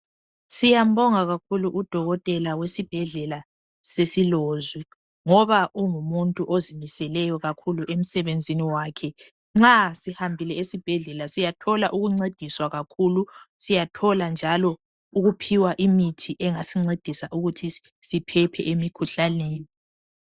Siyambonga kakhulu udokotela wesibhedlela sesiLozwi ngoba ungumuntu ozimiseleyo kakhulu emsebenzini wakhe. Nxa sihambile esibhedlela siyathola ukuncediswa kakhulu, siyathola njalo ukuphiwa imithi yokusincedisa ukuthi siphephe emikhuhlaneni.